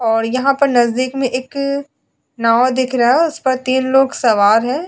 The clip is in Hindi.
और यहां पर नजदीक में एक नाव दिख रहा है उस पर तीन लोग सवार हैं।